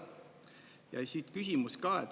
Ja siit küsimus ka.